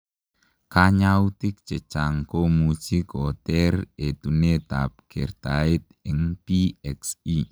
Kanyautik chechang komuchii koteer etuneet ap kertaet eng PXE.